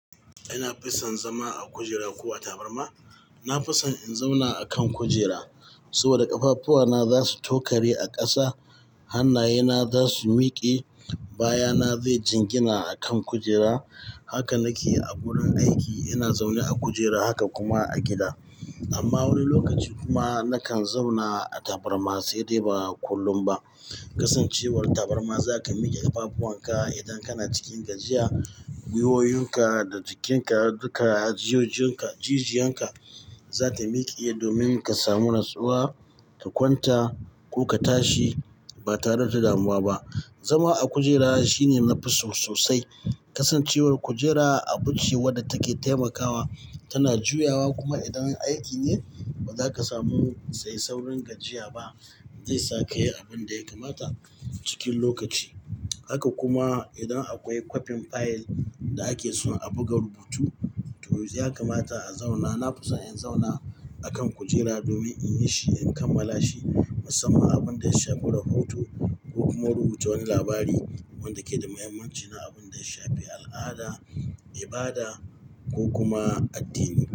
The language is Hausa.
Ina fison zama a kujera ko a tabarma? Na fison in zauna a kan kujera saboda ƙafafuwana za su tokare a ƙasa, hannayena za su miƙe, baya na zai jingina a kan kujera. Haka nake a wurin aiki, ina zaune a kujera haka kuma a gida. Amma wani lokaci kuma nakan zauna a tabarma sai dai ba kullum ba. Kasancewar tabarma zaka miƙe ƙafafuwan ka idan kana cikin gajiya, gwiwoyinka da jikinka duka jijiyanka za ta miƙe domin ka samu natsuwa, ka kwanta ko ka tashi ba tare da damuwa ba. Zama a kujera shine nafi so sosai. Kasancewar kujera abu ce wadda take taimakawa, tana juyawa kuma idan aiki ne ba zaka samu sai saurin gajiya ba. Zai saka yayi abunda ya kamata cikin lokaci. Haka kuma idan akwai kwafin fayil da ake so a buga rubutu to ya kamata a zauna. Na fison in zauna a kan kujera domin inyi shi, in kammala shi musamman abunda ya shafi rahoto ko kuma rubuta wani labari wanda yake da muhimmanci na abunda ya shafi al'ada, ibada ko kuma addini.